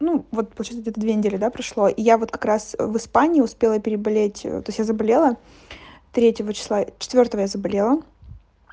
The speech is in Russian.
ну вот получается где-то две недели да прошло я вот как раз в испании успела переболеть то есть я заболела третьего числа четвёртого я заболела